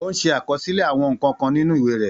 Ó ń ṣe àkọsílẹ̀ àwọn nǹkan kan nínú ìwé rẹ̀.